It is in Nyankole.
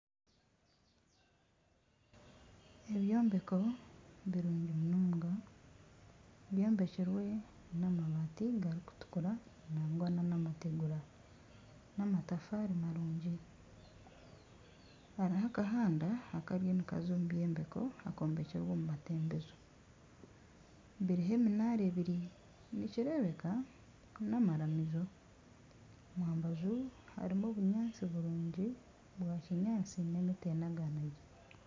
Ebyombeko birungi munonga byombekirwe n'amabaati garikutukura nangwa nana amategura n'amatafaari marungi hariho akahanda akariyo nikaza omu byombeko akombekirwe omu matembezo biriho eminaara ebiri nikirebeka n'amaramizo. Omu mbaju harimu obunyaatsi burungi bwa kinyaatsi na emiti enaganagire.